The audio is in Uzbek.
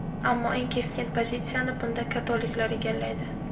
Ammo eng keskin pozitsiyani bunda katoliklar egallaydi.